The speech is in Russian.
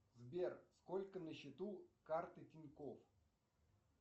сбер сколько на счету карты тинькофф